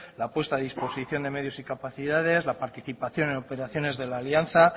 la puesta a disposición de medios y capacidades la participación en operaciones de la alianza